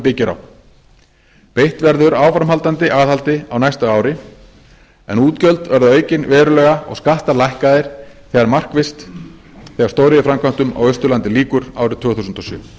byggir á beitt verður áframhaldandi aðhaldi á næsta ári en útgjöld verða aukin verulega og skattar lækkaðir markvisst þegar stóriðjuframkvæmdum á austurlandi lýkur árið tvö þúsund og sjö